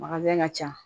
ka ca